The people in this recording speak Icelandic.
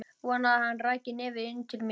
Vonaði að hann ræki nefið inn til mín.